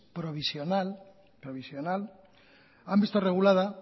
provisional provisional han visto regulada